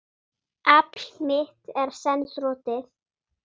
Afl mitt er senn þrotið.